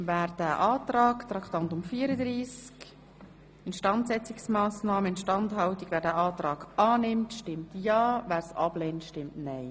Wer das Kreditgeschäft annimmt, stimmt ja, wer es ablehnt, stimmt nein.